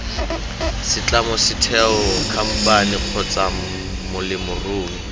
setlamo setheo khamphane kgotsa molemirui